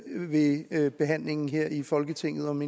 ved ved behandlingen her i folketinget om